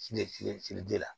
la